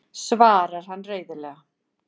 svarar hann reiðilega.